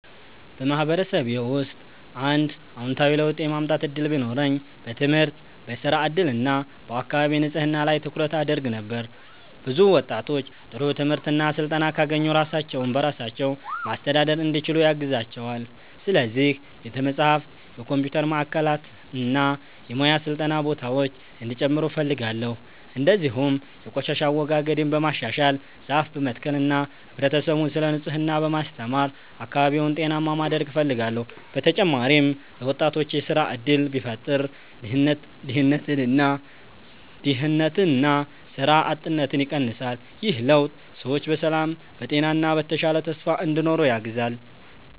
በማህበረሰቤ ውስጥ አንድ አዎንታዊ ለውጥ የማምጣት እድል ቢኖረኝ በትምህርት፣ በሥራ እድል እና በአካባቢ ንጽህና ላይ ትኩረት አደርግ ነበር። ብዙ ወጣቶች ጥሩ ትምህርት እና ስልጠና ካገኙ ራሳቸውን በራሳቸው ማስተዳደር እንዲችሉ ያግዛቸዋል። ስለዚህ ቤተ መጻሕፍት፣ የኮምፒውተር ማዕከላት እና የሙያ ስልጠና ቦታዎች እንዲጨምሩ እፈልጋለሁ። እንዲሁም የቆሻሻ አወጋገድን በማሻሻል፣ ዛፍ በመትከል እና ህብረተሰቡን ስለ ንጽህና በማስተማር አካባቢውን ጤናማ ማድረግ እፈልጋለሁ። በተጨማሪም ለወጣቶች የሥራ እድል ቢፈጠር ድህነትና ሥራ አጥነት ይቀንሳል። ይህ ለውጥ ሰዎች በሰላም፣ በጤና እና በተሻለ ተስፋ እንዲኖሩ ያግዛል።